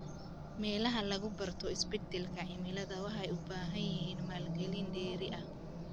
Meelaha lagu barto isbeddelka cimilada waxay u baahan yihiin maalgelin dheeri ah.